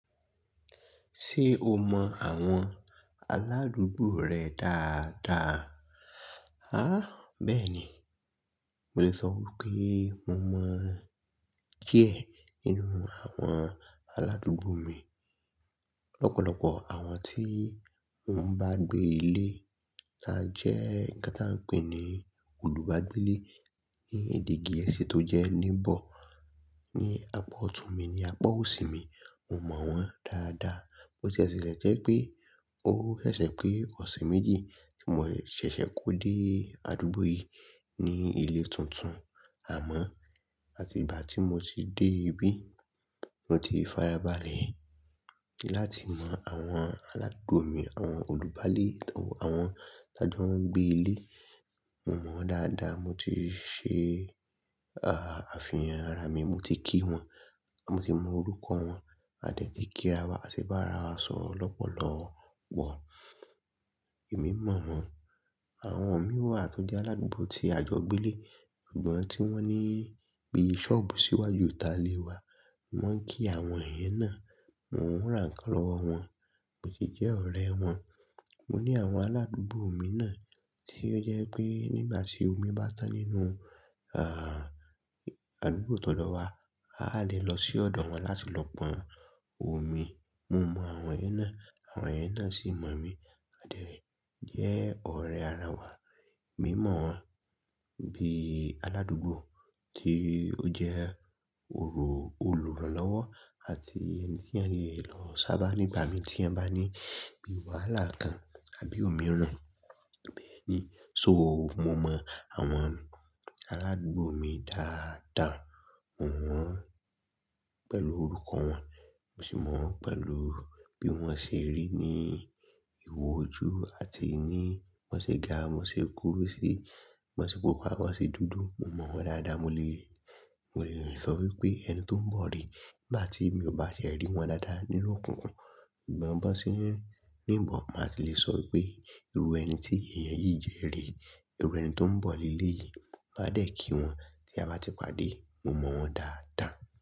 Ṣé o mọ àwọn aládùúgbò rẹ dáadáa? A, bẹ́ẹ̀ ni. Mo lè sọ wípé mo mọ díẹ̀ nínú àwọn aládùúgbò mi. Lọ́pọ̀lọ́pọ̀ àwọn tí wọ́n bá gbé ilé tájẹ́ nká tá ń pè ní olùgbàgbé ilé ní ìdíìgi ẹsẹ̀ tó jẹ́ neighbor ní apá ọtun mi ní apá òsì mi, mo mọ wọ́n dáadáa. Bo ṣe sẹsẹ jẹ́ pé ó sẹsẹ pé ọ̀sẹ̀ méjì tí mò ṣẹ̀ṣẹ̀ kó dé àdúgbò yìí ní ilé tuntun, àmọ́ àti ìgbà tí mo ti dé ibí, mo ti fara balẹ̀ láti mọ àwọn aládùúgbò mi, àwọn olùgbàlé tàwọn, àwọn tí a jẹ́ wọ́n ń gbé ilé, mo mọ wọ́n dáadáa. Mo ti ṣe, à, àfihàn ara mi, mo ti kí wọn, mo ti mọ orúkọ wọn, a dẹ̀ ti kí ara wa, ati bá ara wa sọ̀rọ̀ lọ́pọ̀lọ́pọ̀. Èmi mọ̀ wọ́n. Àwọn mìíràn tó jẹ́ aládùúgbò tí àjọ gbé ilé, ìgbọ́n tí wọ́n ní bí i ṣọ́ọ̀bù síwájú ta lè wa, mò ń kí àwọn èyẹn náà, mò ń rán kàn lọ́wọ́ wọn, mo sì jẹ́ ọ̀rẹ́ wọn. Mo ní àwọn aládùúgbò omi náà tí ó jẹ́ pé nígbà tí omi bá tán nínú, à, àdúgbò tọ̀dọ̀ wa, a lè lọ sí ọ̀dọ̀ wọn láti lọ pọn omi. Mo mọ àwọn èyẹn náà, àwọn èyẹn náà sì mọ̀ mí. A dẹ̀ jẹ́ ọ̀rẹ́ ara wa. Èmi mọ̀ wọ́n bí i aládùúgbò tí ó jẹ́ olùrànlọ́wọ́ àti ẹni tí a lè lọ sábà nígbà mi tí a bá ní bí i wàhálà kan àbí òmíràn. Bẹ́ẹ̀ni, so mo mọ àwọn aládùúgbò mi dáadáa. Mò wọ́n pẹ̀lú orúkọ wọn, mo sì mọ̀ wọ́n pẹ̀lú bí wọ́n ṣe rí ní ìwò ojú àti ní wọ́n ṣe ga, wọ́n ṣe kúrú sí, wọ́n ṣe pupa, wọ́n ṣe dúdú. Mo mọ wọ́n dáadáa. Mo lè, mo lè sọ wípé ẹni tó ń bọ̀ rí nígbà tí mi ò bá ṣe rí wọn dáadáa nínú òkùnkùn, ìgbọ́n bá ṣé nínú ìbọ̀ máa ti lè sọ wípé irú ẹni tí èèyàn yìí jẹ́ rí, irú ẹni tó ń bọ̀ ilé yìí, máa dẹ̀ kí wọn tí a bá ti pàdé. Mo mọ wọ́n dáadáa.